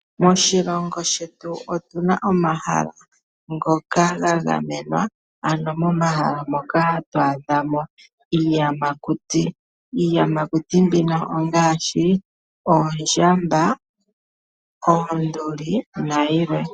Moshilongo shetu otuna omahala ngoka ga gamenwa. Ano momahala moka to adha mo iiyamakuti. Iiyamakuti mbino ongaashi oondjamba, oonduli nayilwe.